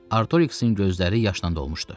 Artoiksin gözləri yaşla dolmuşdu.